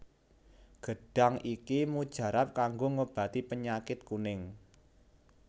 Gêdhang iki mujarab kanggo ngobati pênyakit kuning